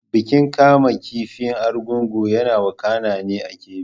Bikin kamun kifi na Argungu yana wakana ne a Kebbi.